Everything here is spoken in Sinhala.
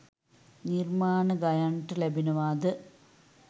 නිර්මාණ ගයාන්ට ලැබෙනවාද?